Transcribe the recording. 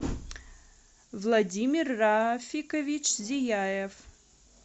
владимир рафикович зияев